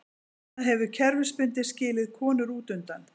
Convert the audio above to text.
Það hefur kerfisbundið skilið konur útundan.